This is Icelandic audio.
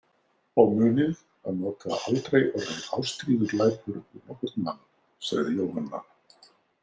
Og munið að nota aldrei orðið ástríðuglæpur við nokkurn mann, sagði Jóhanna.